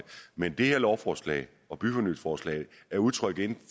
men det her lovforslag og byfornyelsesforslag er udtryk